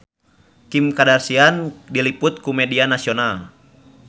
Kim Kardashian diliput ku media nasional